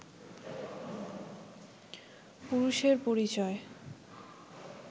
পুরুষের পরিচয়